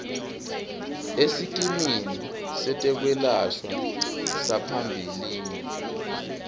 esikimini setekwelashwa saphambilini